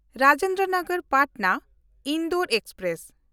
Rajendra Nagar Patna Indore express